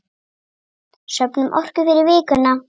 Söfnum orku fyrir vikuna.